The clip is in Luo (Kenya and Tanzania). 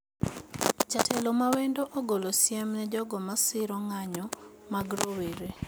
Jatelo ma wendo ogolo siem ne jogo masiro ng`nyo mag rowere